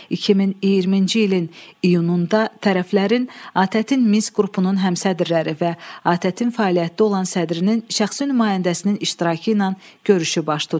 2020-ci ilin iyununda tərəflərin ATƏT-in Minsk qrupunun həmsədrləri və ATƏT-in fəaliyyətdə olan sədrinin şəxsi nümayəndəsinin iştirakı ilə görüşü baş tutdu.